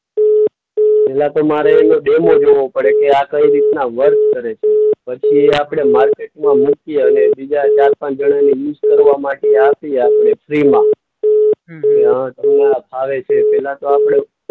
પહેલા તો મારે એનો ડેમો જોવો પડે કે આ કઈ રીતના વર્ક કરે છે. પછી એ આપણે માર્કેટમાં મૂકીએ અને બીજા ચાર-પાંચ જણાને યુઝ કરવા માટે આપીએ આપણે ફ્રીમાં. કે હા તમને આ ફાવે છે? પહેલા તો આપણે